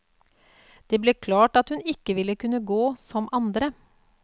Det ble klart at hun ikke ville kunne gå som andre.